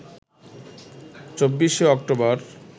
২৪শে অক্টোবর